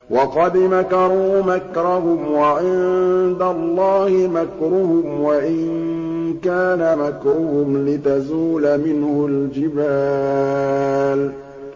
وَقَدْ مَكَرُوا مَكْرَهُمْ وَعِندَ اللَّهِ مَكْرُهُمْ وَإِن كَانَ مَكْرُهُمْ لِتَزُولَ مِنْهُ الْجِبَالُ